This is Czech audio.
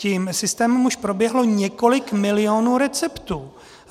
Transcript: Tím systémem už proběhlo několik milionů receptů.